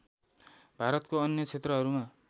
भारतको अन्य क्षेत्रहरूमा